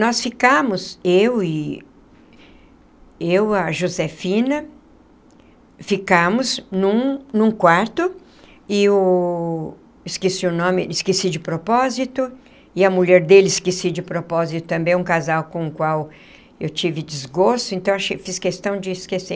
Nós ficamos, eu e eu a Josefina, ficamos num num quarto, e o esqueci o nome, esqueci de propósito, e a mulher dele esqueci de propósito também, um casal com o qual eu tive desgosto, então eu fiz questão de esquecer.